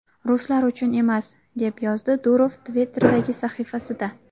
Ruslar uchun emas”, - deb yozdi Durov Twitter’dagi sahifasida.